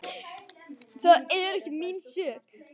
Það er ekki mín sök.